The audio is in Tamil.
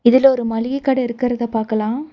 இதுல ஒரு மளிக கட இருக்கறத பாக்கலா.